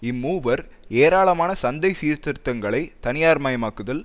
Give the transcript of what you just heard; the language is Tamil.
இம்மூவர் ஏராளமான சந்தை சீர்திருத்தங்களை தனியார் மயமாக்குதல்